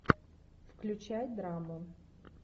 включай драму